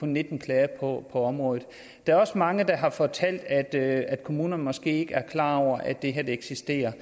nitten klager på området der er også mange der har fortalt at at kommunerne måske ikke er klar over at det eksisterer